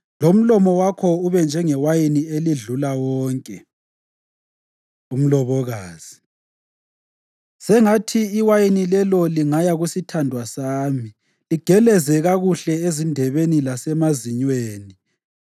lomlomo wakho ube njengewayini elidlula wonke. Umlobokazi Sengathi iwayini lelo lingaya kusithandwa sami, ligeleze kakuhle ezindebeni lasemazinyweni.